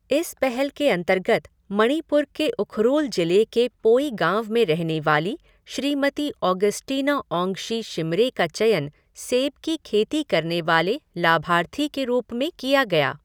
इस पहल के अंतर्गत मणिपुर के उखरूल जिले के पोई गाँव में रहने वाली श्रीमती ऑगस्टिना औंग्शी शिमरे का चयन सेब की खेती करने वाले लाभार्थी के रूप में किया गया।